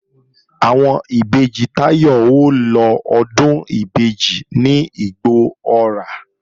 Àwọn ìbejì Táyọ̀ ó lọ Ọdún ìbejì ní Igbó-ọrà